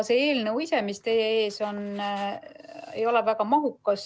See eelnõu ise, mis teie ees on, ei ole väga mahukas.